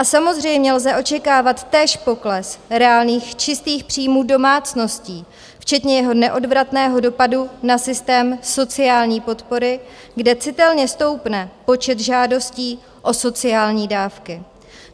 A samozřejmě lze očekávat též pokles reálných čistých příjmů domácností, včetně jeho neodvratného dopadu na systém sociální podpory, kde citelně stoupne počet žádostí o sociální dávky.